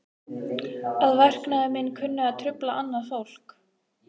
Hugbjörg, hvernig er veðrið í dag?